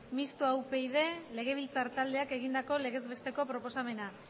mistoa upyd legebiltzar taldeak egindako legez besteko proposamena